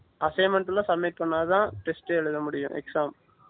assignment லாம் submit பண்ண தான் test ட்டெ எழுத முடியும் exam